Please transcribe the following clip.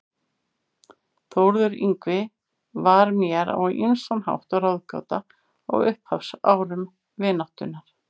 Þórður Yngvi var mér á ýmsan hátt ráðgáta á upphafsárum vináttunnar.